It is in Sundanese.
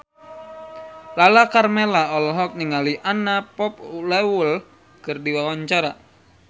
Lala Karmela olohok ningali Anna Popplewell keur diwawancara